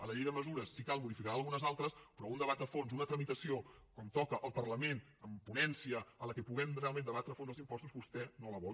a la llei de mesures si cal en modificaran algunes altres però un debat a fons una tramitació com toca al parlament amb ponència en què puguem realment debatre a fons els impostos vostè no la vol